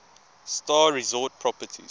star resort properties